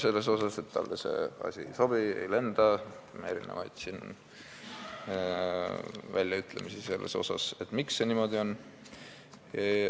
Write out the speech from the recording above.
Talle see asi ei sobi ja siin lendas erinevaid väljaütlemisi, miks see niimoodi on.